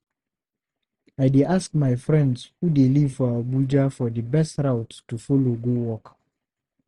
I dey ask my friends who dey live for Abuja for di best route to folow go work.